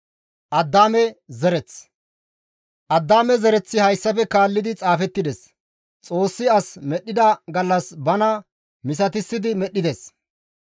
Addaame zereththi hayssafe kaallidi xaafettides; Xoossi as medhdhida gallas bana misatissidi medhdhides.